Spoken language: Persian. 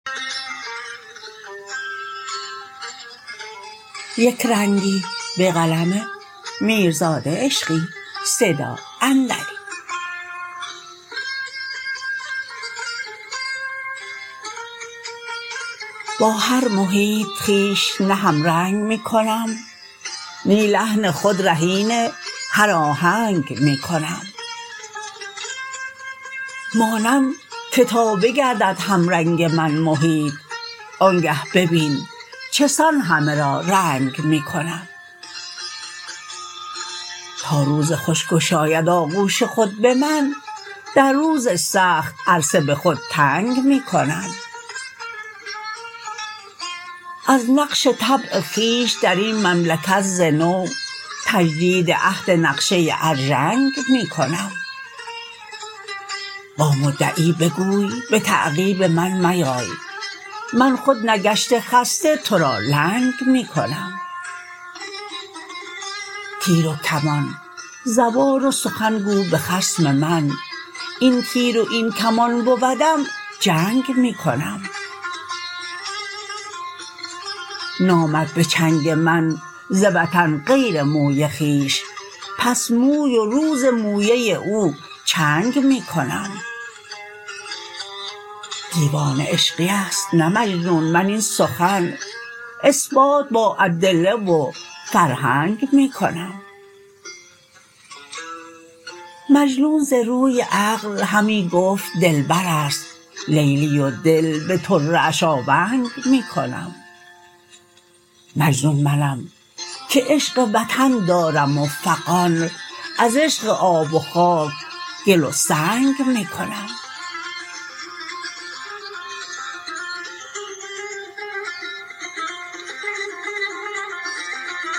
با هر محیط خویش نه هم رنگ می کنم نی لحن خود رهین هر آهنگ می کنم مانم که تا بگردد هم رنگ من محیط آنگه ببین چه سان همه را رنگ می کنم تا روز خوش گشاید آغوش خود به من در روز سخت عرصه به خود تنگ می کنم از نقش طبع خویش در این مملکت ز نو تجدید عهد نقشه ارژنگ می کنم با مدعی بگوی به تعقیب من میای من خود نگشته خسته ترا لنگ می کنم تیر و کمان زبان و سخن گو به خصم من این تیر و این کمان بودم جنگ می کنم نامد به چنگ من ز وطن غیر موی خویش پس موی و روز مویه او چنگ می کنم دیوانه عشقی است نه مجنون من این سخن اثبات با ادله و فرهنگ می کنم مجنون ز روی عقل همی گفت دلبر است لیلی و دل به طره اش آونگ می کنم مجنون منم که عشق وطن دارم و فغان از عشق آب و خاک گل و سنگ می کنم